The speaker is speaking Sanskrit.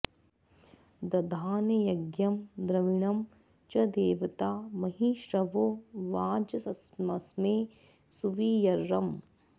दधाने यज्ञं द्रविणं च देवता महि श्रवो वाजमस्मे सुवीर्यम्